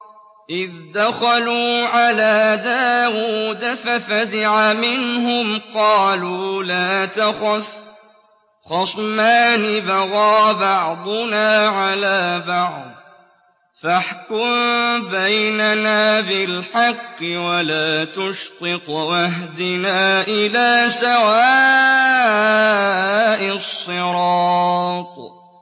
إِذْ دَخَلُوا عَلَىٰ دَاوُودَ فَفَزِعَ مِنْهُمْ ۖ قَالُوا لَا تَخَفْ ۖ خَصْمَانِ بَغَىٰ بَعْضُنَا عَلَىٰ بَعْضٍ فَاحْكُم بَيْنَنَا بِالْحَقِّ وَلَا تُشْطِطْ وَاهْدِنَا إِلَىٰ سَوَاءِ الصِّرَاطِ